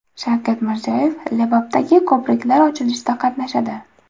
Shavkat Mirziyoyev Lebapdagi ko‘priklar ochilishida qatnashadi.